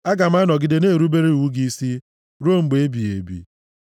Aga m anọgide na-erubere iwu gị isi ruo mgbe ebighị ebi.